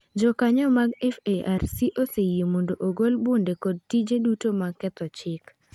Jokanyoo mag FARC oseyie mondo ogol bunde kod tije duto mag ketho chik.